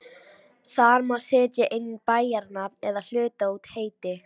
Þar má setja inn bæjarnafn eða hluta út heiti.